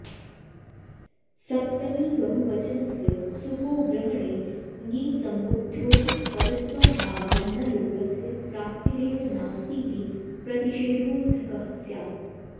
सप्तमीबहुवचनस्य सुपो ग्रहणे ङिसम्बुद्ध्योः पदत्वाभावान्नलोपस्य प्राप्तिरेव नास्तीति प्रतिषेधोऽर्थकः स्यात्